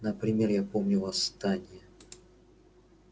например я помню восстание